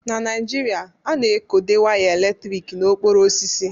Na Naijiria, a na-ekode waya eletrik na okporo osisi.